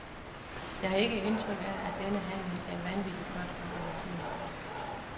Jeg har ikke indtryk af, at denne handel er vanvittigt godt organiseret.